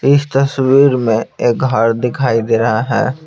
इस तस्वीर में एक घर दिखाई दे रहा है।